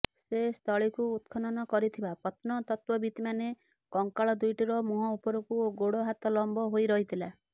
ସେ ସ୍ଥଳୀକୁ ଉତ୍ଖନନ କରିଥିବା ପ୍ରତ୍ନତତ୍ତ୍ୱବିତ୍ମାନେ କଙ୍କାଳ ଦୁଇଟିର ମୁହଁ ଉପରକୁ ଓ ଗୋଡ଼ହାତ ଲମ୍ବ ହୋଇ ରହିଥିଲା